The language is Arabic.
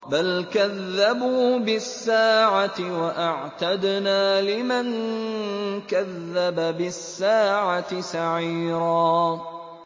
بَلْ كَذَّبُوا بِالسَّاعَةِ ۖ وَأَعْتَدْنَا لِمَن كَذَّبَ بِالسَّاعَةِ سَعِيرًا